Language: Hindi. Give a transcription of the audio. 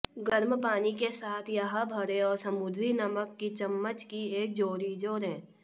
गर्म पानी के साथ यह भरें और समुद्री नमक की चम्मच की एक जोड़ी जोड़ें